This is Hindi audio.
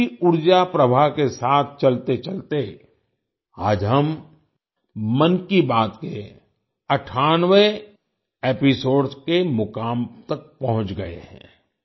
इसी ऊर्जा प्रवाह के साथ चलतेचलते आज हम मन की बात के 98वें एपिसोड के मुकाम तक पहुँच गए हैं